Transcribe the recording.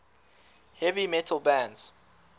heavy metal bands